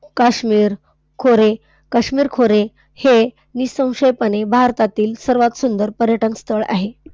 काश्मीर खोरे, काश्मीर खोरे हे निःसंशयपणे भारतातील सर्वात सुंदर पर्यटनस्थळ आहे.